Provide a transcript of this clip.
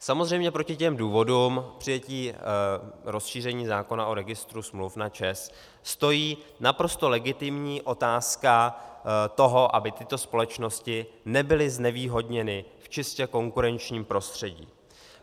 Samozřejmě proti těm důvodům přijetí rozšíření zákona o registru smluv na ČEZ stojí naprosto legitimní otázka toho, aby tyto společnosti nebyly znevýhodněny v čistě konkurenčním prostředí.